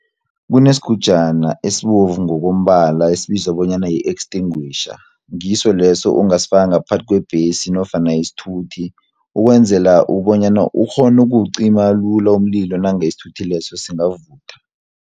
Kunesigujana esibovu ngokombala esibizwa bonyana yi-extinguisher, ngiso leso ongasifaka ngaphasi kwebhesi nofana isithuthi, ukwenzela bonyana ukghonu ukuwucima lula umlilo nange isithuthi leso singavutha.